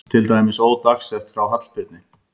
Til dæmis ódagsett frá Hallbirni